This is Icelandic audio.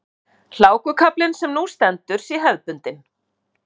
Hlákukaflinn sem nú stendur sé hefðbundinn